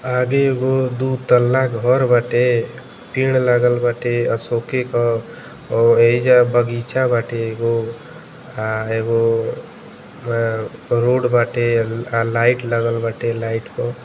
आगे एगो दू तल्ला घर बाटे पेड़ लागल बाटे। अशोके क और एहिजा बगीचा बाटे एगो आ एगो रोड बाटे। आ लाइट लागल बाटे लाइट।